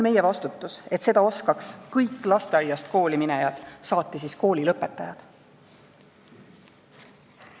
Meie vastutame selle eest, et seda oskaks kõik lasteaiast kooli minejad, saati siis koolilõpetajad.